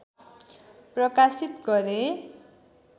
प्रकाशित गरे